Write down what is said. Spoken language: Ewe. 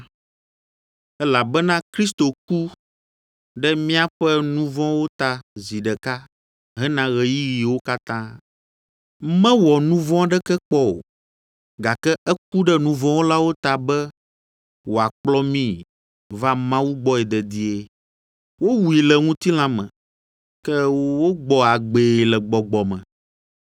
elabena Kristo ku ɖe míaƒe nu vɔ̃wo ta zi ɖeka hena ɣeyiɣiwo katã. Mewɔ nu vɔ̃ aɖeke kpɔ o, gake eku ɖe nu vɔ̃ wɔlawo ta be wòakplɔ mi va Mawu gbɔe dedie. Wowui le ŋutilã me, ke wogbɔ agbee le Gbɔgbɔ me,